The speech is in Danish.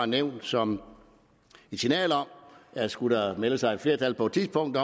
nævnt som et signal om at skulle der melde sig et flertal på et tidspunkt